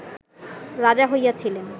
রাজা হইয়াছিলেন